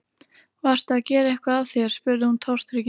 Varstu að gera eitthvað af þér? spurði hún tortryggin.